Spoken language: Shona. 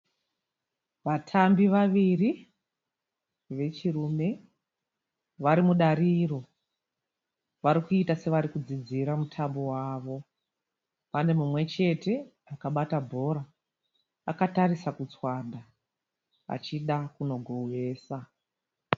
Vatambi vaviri vechirume varimudariro, varikuita senge varikudzidzira mutambo wavo .Panemumwe chete akabata bhora akatarisa kurutswanda achida kunogowesa.